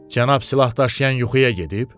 Cənab silahdaşıyan yuxuya gedib?